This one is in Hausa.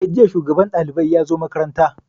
Eh, jiya shugaban ɗalibai ya zo makaranta